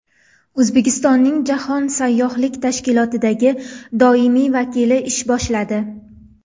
O‘zbekistonning Jahon sayyohlik tashkilotidagi doimiy vakili ish boshladi.